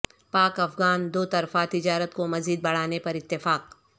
پاک افغان دوطرفہ تجارت کو مزید بڑھانے پر اتفاق